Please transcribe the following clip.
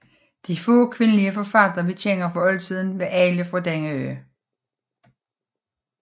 De få kvindelige forfattere vi kender fra oldtiden var alle fra denne ø